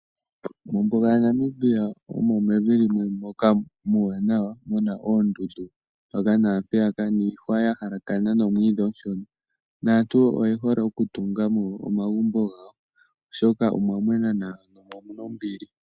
Mombuga yaNamibia omo mevi limwe moka muuwanawa mu na oondundu mpaka naampeyaka, niihwa ya halakana nomwiidhi omushona naantu oye hole okutunga mo omagumbo gawo, oshoka omwa mwena nawa mo omu na ombili.